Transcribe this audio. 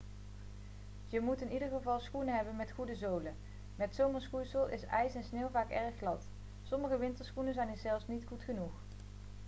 je moet in ieder geval schoenen hebben met goede zolen met zomerschoeisel is ijs en sneeuw vaak erg glad sommige winterschoenen zijn hier zelfs niet goed genoeg